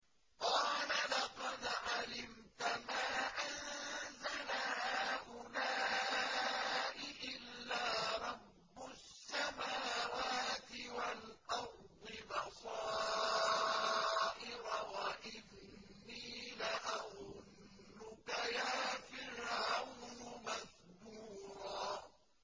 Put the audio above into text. قَالَ لَقَدْ عَلِمْتَ مَا أَنزَلَ هَٰؤُلَاءِ إِلَّا رَبُّ السَّمَاوَاتِ وَالْأَرْضِ بَصَائِرَ وَإِنِّي لَأَظُنُّكَ يَا فِرْعَوْنُ مَثْبُورًا